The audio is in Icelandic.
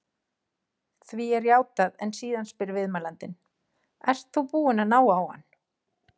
Því er játað en síðan spyr viðmælandinn: Ert þú búinn að ná á hann?